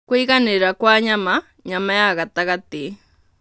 Kũiganĩrĩra kwa nyama (nyama ya gatagatĩ)